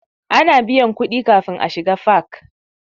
Ana biyan kuɗi kafin a shiga fak.